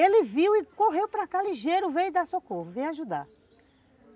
Ele viu e correu para cá ligeiro, veio dar socorro, veio ajudar.